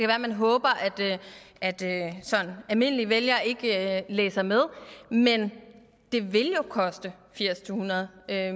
være man håber at at sådan almindelige vælgere ikke læser med men det vil jo koste firs til hundrede